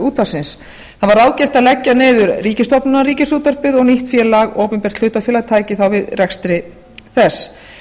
útvarpsins það var ráðgert að leggja niður ríkisstofnunina ríkisútvarpið og nýtt opinbert hlutafélag tæki þá við rekstri þess